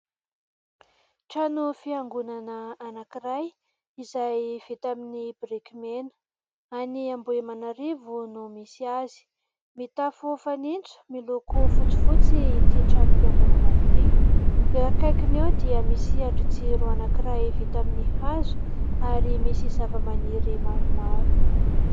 Trano fiangonana anankiray izay vita amin'ny biriky mena, any ambohimanarivo no misy azy; mitafo fanintso miloko fotsifotsy ity trano fiangonana ity eo akaikiny eo dia misy andrin-jiro anankiray vita amin'ny hazo ary misy zava-maniry maromaro.